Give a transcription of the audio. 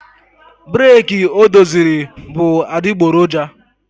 breeki o doziri bụ adịgboroja